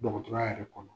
Dɔgɔtɔrɔya yɛrɛ kɔnɔ